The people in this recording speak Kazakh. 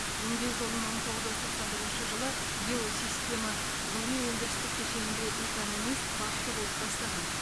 еңбек жолын мың тоғыз жүз тоқсан бірінші жылы геосистема ғылыми өндірістік кешенінде экономист басшы болып бастаған